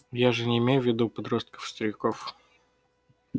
я же не имею в виду подростков и стариков